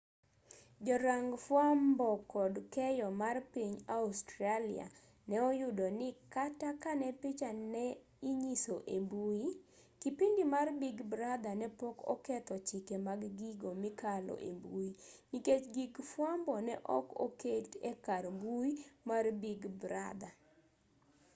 jorang fwambo kod keyo mar piny australia ne oyudo ni kata kane picha ne inyiso e mbui kipindi mar big brother ne pok oketho chike mag gigo mikalo embui nikech gig fwambo ne ok oket e kar mbui mar big brother